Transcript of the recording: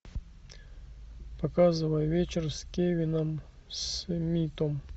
показывай вечер с кевином смитом